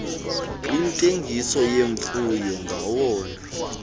iintengiso zemfuyo ngawona